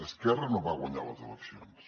esquerra no va guanyar les eleccions